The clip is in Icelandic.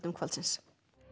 kvöldsins